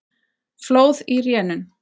Flóð í rénun